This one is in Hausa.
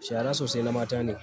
Shara sosai na mata ne.